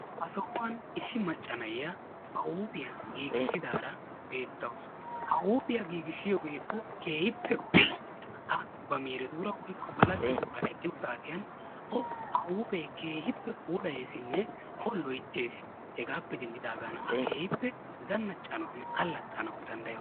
Ha sohuwan issi macca na'iya ba huuphiya giigissidaara beettawus. Ha huuphiya giigissiyogee O keehippe go"es. A ba miiretuura woykko ba laggetuura eqqiyo saatiyan O ha huuphee keehippe puulayeesinne O keehippe loyttees. Hegaappe denddidaagana A keehippe zannaccanawunne allaxxanawu danddayawusu.